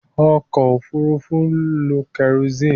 Ọkọ̀ òfurufú ń lo kẹrosíìnì.